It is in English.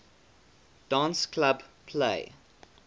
dance club play